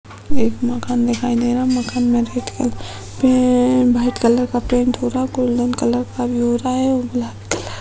एक मकान दिखाई दे रहा। मकान में रेड कलर का पे भाईट कलर का पेंट हो रहा। गोल्डन कलर का भी हो रहा हुआ और लाल कलर --